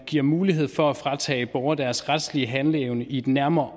giver mulighed for at fratage borgere deres retslige handleevne i et nærmere